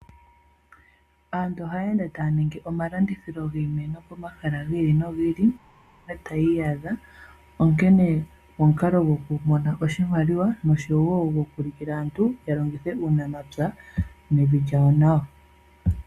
Aantu ohayeende taya ningi omalandithilo giimeno pomahala gi ili nogi ili mpa taya iyadha, onkene omukalo gokumona oshimaliwa nosho wo gokuulukila aantu ya longithe uunamapya nevi lya lyo nawa.